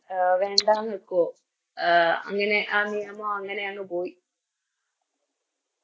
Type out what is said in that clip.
A വേണ്ടാന്ന് വെക്കോ അങ്ങനെ ആ നിയമം അങ്ങനെയങ് പോയി